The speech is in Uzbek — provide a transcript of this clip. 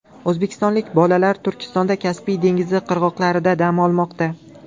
O‘zbekistonlik bolalar Turkmanistonda Kaspiy dengizi qirg‘oqlarida dam olmoqda.